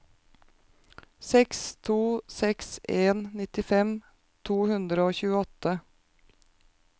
seks to seks en nittifem to hundre og tjueåtte